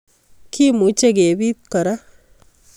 Kimuche kebit kora.